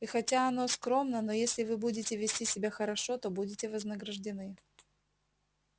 и хотя оно скромно но если вы будете вести себя хорошо то будете вознаграждены